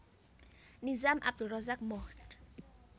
Nizam Abdul Razak Mohd